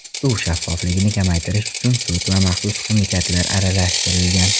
Suv shaffofligini kamaytirish uchun sut va maxsus ximikatlar aralashtirilgan.